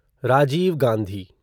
Rajiv Gandhi